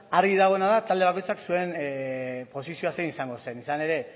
argi dagoena da talde bakoitzak zuen posizioa zein izango zen izan ere